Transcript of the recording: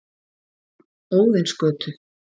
Óðinsgötu